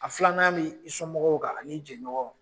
A filanan b'i sɔnmɔgɔw kan ani jɛɲɔgɔnw.